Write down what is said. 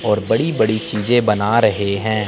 और बड़ी बड़ी चीजें बना रहे हैं।